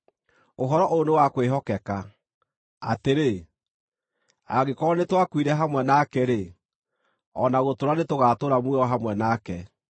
Ũhoro ũyũ nĩ wa kwĩhokeka, atĩrĩ: Angĩkorwo nĩtwakuire hamwe nake-rĩ, o na gũtũũra nĩtũgaatũũra muoyo hamwe nake;